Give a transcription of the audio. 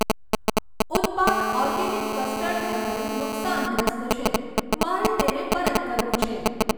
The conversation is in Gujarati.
ઉત્પાદઓર્ગેનિક કસ્ટર્ડ એપલ નુકસાનગ્રસ્ત છે, મારે તેને પરત કરવું છે.